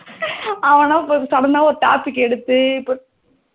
ஹம் அவனா first sudden ஒரு topic எடுத்து